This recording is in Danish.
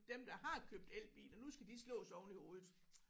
Dem der har købt elbiler nu skal de slås oveni hovedet